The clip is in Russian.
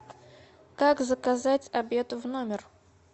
как заказать обед в номер